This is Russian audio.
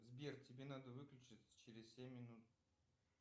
сбер тебе надо выключить через семь минут